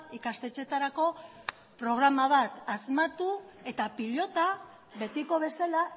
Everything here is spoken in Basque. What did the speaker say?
ikastetxeetarako programa bat asmatu eta pilota betiko bezala